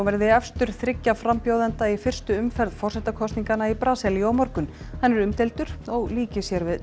verði efstur þriggja frambjóðenda í fyrstu umferð forsetakosninga í Brasilíu á morgun hann er umdeildur og líkir sér við